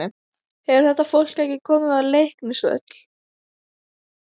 Hefur þetta fólk ekki komið á Leiknisvöll?